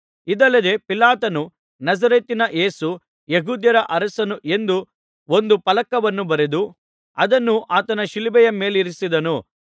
ಇದಲ್ಲದೆ ಪಿಲಾತನು ನಜರೇತಿನ ಯೇಸು ಯೆಹೂದ್ಯರ ಅರಸನು ಎಂದು ಒಂದು ಫಲಕವನ್ನು ಬರೆದು ಅದನ್ನು ಆತನ ಶಿಲುಬೆಯ ಮೇಲಿಡಿಸಿದ್ದನು